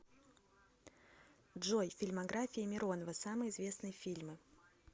джой фильмография миронова самые известные фильмы